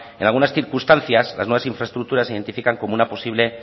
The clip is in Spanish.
en algunas circunstancias las nuevas infraestructuras se identifican como una posible